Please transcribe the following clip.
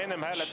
Kuna me enne …